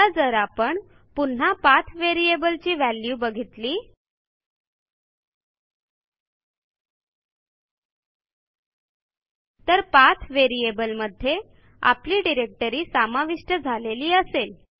आता जर आपण पुन्हा पाठ व्हेरिएबल ची व्हॅल्यू बघितली तर पाठ व्हेरिएबल मध्ये आपली डिरेक्टरी समाविष्ट झालेली असेल